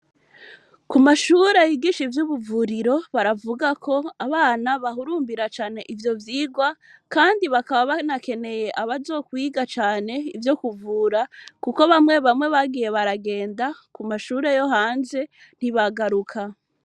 Ku mashure bigisha ivyo ubuvuriro baravuga ko abana bahurumbira cane ivyo vyigwa, kandi bakaba banakeneye abazokwiga cane ivyo kuvura, kuko bamwe bamwe bagiye baragenda ku mashure yo hanze ntibagaruka.